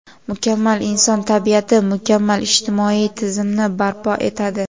Mukammal inson tabiati mukammal ijtimoiy tizimni barpo etadi.